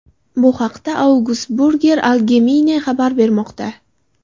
Bu haqda Augsburger Allgemeine xabar bermoqda .